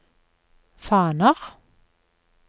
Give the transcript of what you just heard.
faner